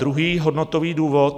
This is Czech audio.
Druhý hodnotový důvod.